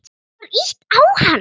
Það var ýtt á hann.